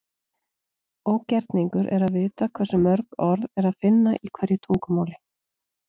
Ógerningur er að vita hversu mörg orð er að finna í hverju tungumáli.